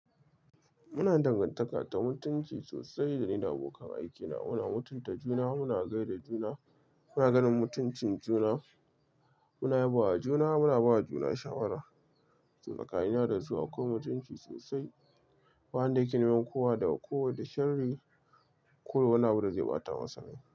Muna da dangantaka ta mutunci sosai da ni da abokan aikina. Muna mutunta juna, muna gaida juna, muna ganin mutuncin juna, muna yabawa juna, muna bawa juna shawara. Tsakanina dasu akwai mutunci sosai. Ba wanda yake neman kowa da kowa da shanri ko yayi wani abu da zai ɓata masa rai.